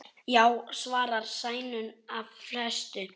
Já, svarar Sæunn af festu.